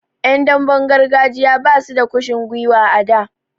Yan damben gargajiya basu da kushin gwiwa a da.